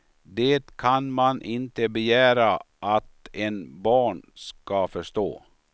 Det kan man inte begära att en barn ska förstå.